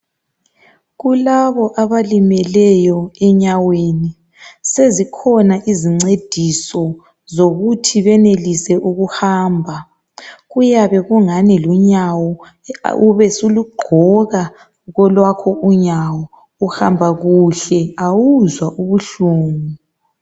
Kulabo abalimeleyo enyaweni sezikhona izincediso zokuthi benelise ukuhamba kuyabe kulunyawo usulugqoka kolwakho unyawo uhamba kuhle awuzwa ubuhlungu